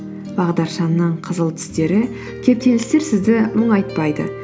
бағдаршамның қызыл түстері кептелістер сізді мұңайтпайды